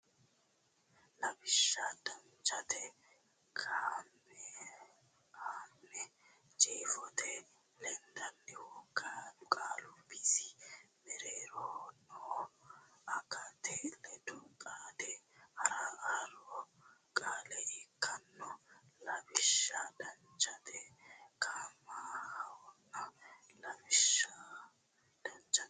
Lawishsha Danchate kaimahonna jeefote lendannihu qaalu bisi mereeroho noohu agate ledo xaade haaro qaale ikkanno Lawishsha Danchate kaimahonna Lawishsha Danchate.